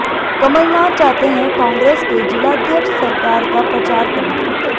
कमलनाथ चाहते हैं कांग्रेस के जिलाध्यक्ष सरकार का प्रचार करें